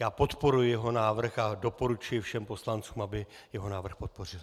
Já podporuji jeho návrh a doporučuji všem poslancům, aby jeho návrh podpořili.